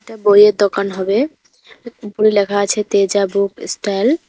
এটা বইয়ের দোকান হবে উপরে লেখা আছে তেজা বুক ইস্টল ।